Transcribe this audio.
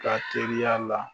Ka teriya la